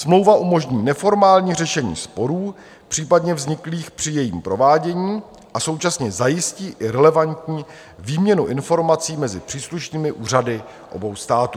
Smlouva umožní neformální řešení sporů případně vzniklých při jejím provádění a současně zajistí i relevantní výměnu informací mezi příslušnými úřady obou států.